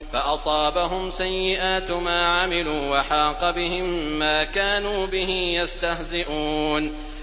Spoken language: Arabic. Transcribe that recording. فَأَصَابَهُمْ سَيِّئَاتُ مَا عَمِلُوا وَحَاقَ بِهِم مَّا كَانُوا بِهِ يَسْتَهْزِئُونَ